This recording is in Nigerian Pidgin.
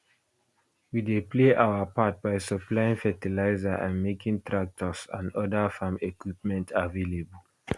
we dey play our part by supplying fertilizer and making tractors and oda farm equipment available